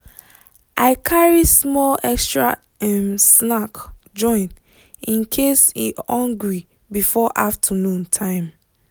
i carry small extra um snack join in case e hungry before afternoon time.